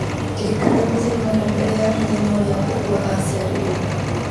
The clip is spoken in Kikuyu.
ndirikania mũthenya ũmwe mbere ya mũthenya ũrĩa mbũgua aciarirwo